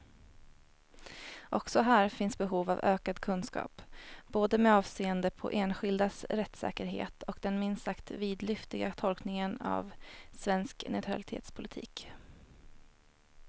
Också här finns behov av ökad kunskap, både med avseende på enskildas rättssäkerhet och den minst sagt vidlyftiga tolkningen av svensk neutralitetspolitik.